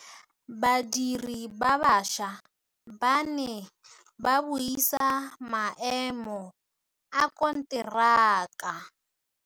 Badiri ba baša ba ne ba buisa maêmô a konteraka.